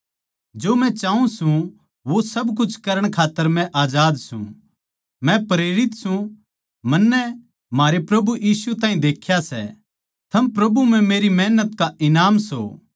जो मै चाऊँ सूं वो सब कुछ करण खात्तर मै आजाद सूं मै प्रेरित सूं मन्नै म्हारे प्रभु यीशु ताहीं देख्या सै थम प्रभु म्ह मेरी मेहनत का ईनाम सों